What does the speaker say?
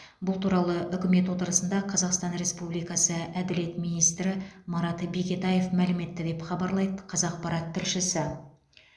бұл туралы үкімет отырысында қазақстан республикасы әділет министрі марат бекетаев мәлім етті деп хабарлайды қазақпарат тілшісі